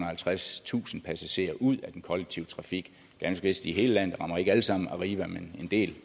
halvtredstusind passagerer ud af den kollektive trafik ganske vist i hele landet og nok ikke alle sammen hos arriva men den del